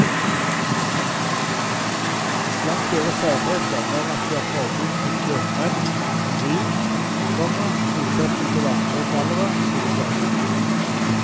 Blant deres særheter er at de har forbud mot kjøpmenn og vin, komma motsetning til andre gallere. punktum